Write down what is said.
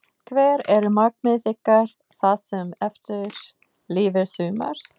Hver eru markmið ykkar það sem eftir lifir sumars?